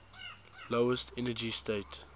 lowest energy state